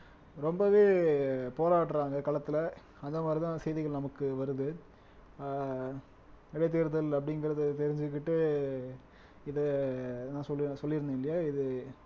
ரொம்பவே போராடுறாங்க களத்துல அந்த மாதிரிதான் செய்திகள் நமக்கு வருது ஆஹ் இடைத்தேர்தல் அப்படிங்கிறது தெரிஞ்சுகிட்டு இது நான் சொல்லி சொல்லிருந்தேன் இல்லையா இது